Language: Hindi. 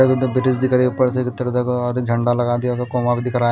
झंडा लगा दिया दिख रहा--